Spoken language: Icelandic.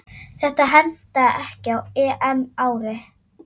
Þetta hentaði ekki á EM-ári.